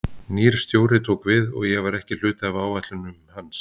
Nýr stjóri tók við og ég var ekki hluti af áætlunum hans.